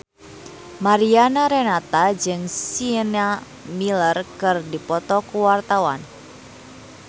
Mariana Renata jeung Sienna Miller keur dipoto ku wartawan